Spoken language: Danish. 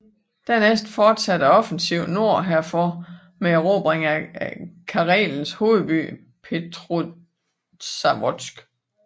Dernæst fortsatte offensiven nord herfor med erobring af Karelens hovedby Petrozavodsk